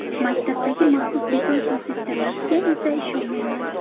Maktabdagi maxsus beton suv sisternasiga esa ishonmayman”.